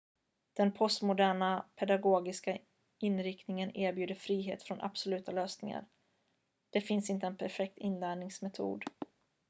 den postmoderna pedagogiska inriktningen erbjuder frihet från absoluta lösningar det finns inte en perfekt inlärningsmetod